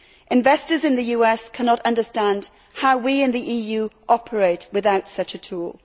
Investors in the US cannot understand how we in the EU operate without such a tool.